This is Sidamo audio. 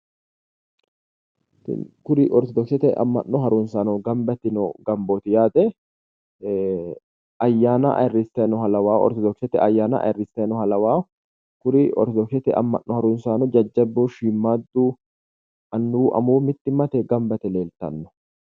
kuri orttodokisete ama'no harunsaano gamba yitino gambooti yaate ayyana ayirisay nooha lawawo ortodokisete ayyana ayirisay nooha lawawo kuri ortodokisete ama'no harunsaano jajjabu shimaaddu anuwu amuwu gamba yite leeltanno.